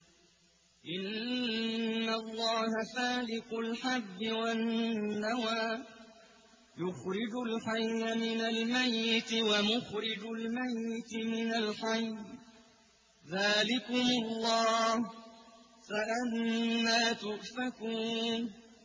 ۞ إِنَّ اللَّهَ فَالِقُ الْحَبِّ وَالنَّوَىٰ ۖ يُخْرِجُ الْحَيَّ مِنَ الْمَيِّتِ وَمُخْرِجُ الْمَيِّتِ مِنَ الْحَيِّ ۚ ذَٰلِكُمُ اللَّهُ ۖ فَأَنَّىٰ تُؤْفَكُونَ